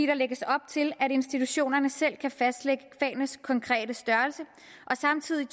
der lægges op til at institutionerne selv kan fastlægge fagenes konkrete størrelse og samtidig